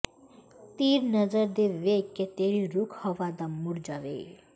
ਤੀਰ ਨਜ਼ਰ ਦੇ ਵੇਖ ਕੇ ਤੇਰੇ ਰੁੱਖ ਹਵਾ ਦਾ ਮੁੱੜ ਜਾਵੇ